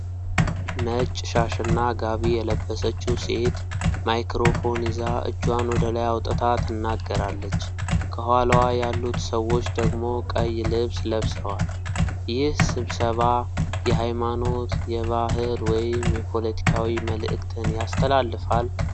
ነጭ ሻሽና ጋቢ የለበሰችው ሴት ማይክሮፎን ይዛ እጇን ወደ ላይ አውጥታ ትናገራለች። ከኋላዋ ያሉት ሰዎች ደግሞ ቀይ ልብስ ለብሰዋል። ይህ ስብሰባ የሃይማኖት፣ የባህል ወይም የፖለቲካዊ መልእክትን ያስተላልፋል?